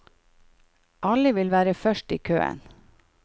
Alle vil være først i køen.